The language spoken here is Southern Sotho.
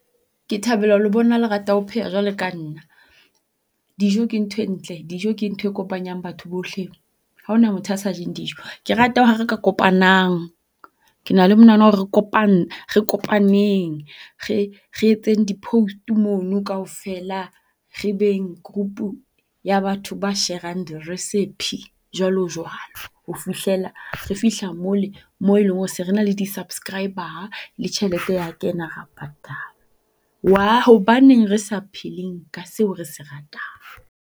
Ke thabela ho le bona le rata ho pheha jwale ka nna. Dijo ke ntho e ntle dijo ke ntho e kopanyang batho bohle. Haona motho a sa jeng dijo. Ke rata ha re kopanang ke na le manahano wa hore re re kopaneng. Re re etseng di post mono kaofela re beng group-u ya batho ba share-ang di recipe jwalo jwalo. Ho fihlela re fihla mole moo eleng hore se re na le di subscriber le tjhelete ya kena, ra patalwa. Wa hobaneng re sa pheleng ka seo re se ratang.